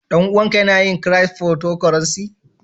Dan-uwan ka Yana yin "cryptocurrency"?